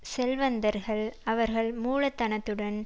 செல்வந்தர்கள் அவர்கள் மூலதனத்துடன்